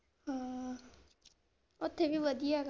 ਹਾਂ, ਓਥੇ ਵੀ ਵਧੀਆ ਆ।